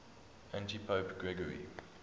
antipope gregory